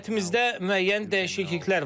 Heyətimizdə müəyyən dəyişikliklər var.